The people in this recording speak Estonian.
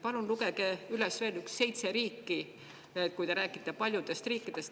Palun lugege üles veel seitse riiki, sest te räägite ju paljudest riikidest.